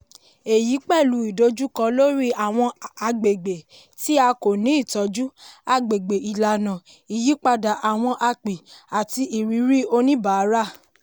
èyí pẹ̀lú ìdojúkọ lórí àwọn agbègbè tí a kò ni ìtọ́jú agbègbè ìlànà ìyípadà àwọn api àti ìrírí oníbàárà.